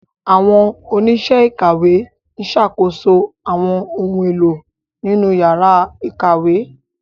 Àwọn oníṣẹ́ ìkàwé ń ṣàkóso àwọn ohun èlò nínú yàrá ìkàwé.